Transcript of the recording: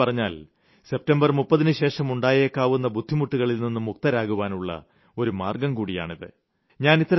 മറ്റൊരുതരത്തിൽ പറഞ്ഞാൽ സെപ്റ്റംബർ 30ന് ശേഷം ഉണ്ടായേക്കാവുന്ന ബുദ്ധിമുട്ടുകളിൽനിന്ന് മുക്തരാകുവാനുള്ള ഒരു മാർഗ്ഗംകൂടിയാണിത്